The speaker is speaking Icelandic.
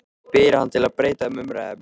spyr hann til að breyta um umræðuefni.